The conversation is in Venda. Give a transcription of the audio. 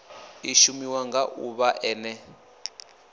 i shumiwa nga ḓuvha ḽene